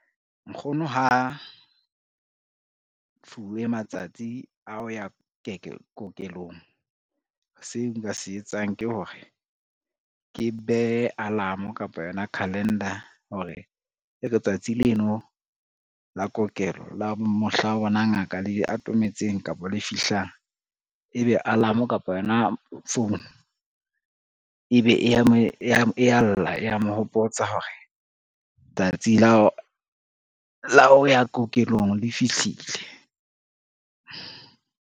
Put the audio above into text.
Nkgono ha fuwe matsatsi a oya kokelong, seo nka se etsang ke hore ke behe alarm kapa yona calendar hore e re tsatsi leno la kokelo la mohla bona ngaka le atometseng kapa le fihlang, ebe alarm kapa yona phone ebe e ya lla e ya mo hopotsa hore tsatsi la ho ya kokelong le fihlile.